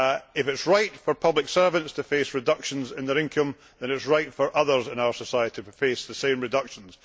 If it is right for public servants to face reductions in their income, then it is right for others in our society to face the same reductions.